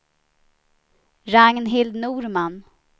Ragnhild Norman